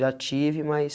Já tive, mas...